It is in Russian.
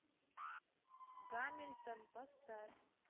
гамильтон поставь